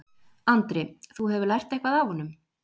Andri: Þú hefur lært eitthvað af honum?